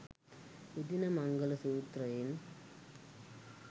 එදින මංගල සූත්‍රයෙන්